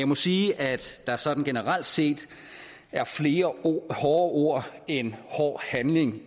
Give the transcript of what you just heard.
må sige at der sådan generelt set er flere hårde ord end hård handling